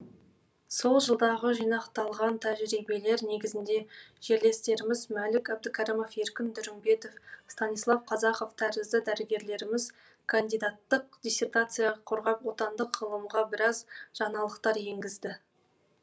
сол жылдағы жинақталған тәжірибелер негізінде жерлестеріміз мәлік әбдікәрімов еркін дүрімбетов станислав казаков тәрізді дәрігерлеріміз кандидаттық диссертация қорғап отандық ғылымға біраз жаңалықтар енгізді